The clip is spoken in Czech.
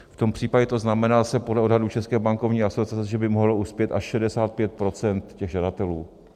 V tom případě to znamená zase podle odhadů České bankovní asociace, že by mohlo uspět až 65 % těch žadatelů.